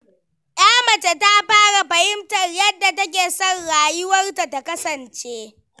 Ya mace ta fara fahimtar yadda take son rayuwarta ta kasance.